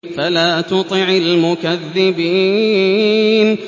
فَلَا تُطِعِ الْمُكَذِّبِينَ